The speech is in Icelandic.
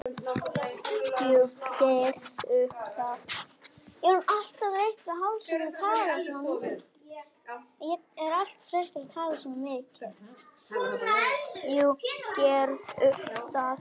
Jú, gerðu það